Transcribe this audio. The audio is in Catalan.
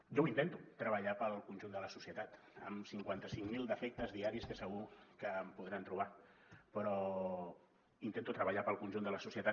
jo ho intento treballar per al conjunt de la societat amb cinquanta cinc mil defectes diaris que segur que em podran trobar però intento treballar per al conjunt de la societat